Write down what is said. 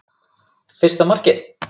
Fyrsta markið?